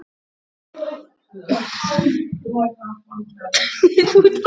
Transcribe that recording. Nú, jæja, ég fór nú samt.